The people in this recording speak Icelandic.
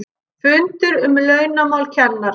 FUNDUR UM LAUNAMÁL KENNARA